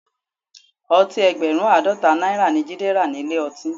Ọtí ẹgbẹ̀rún Àádọ́ta náírà ni Jide rà nílé ọtí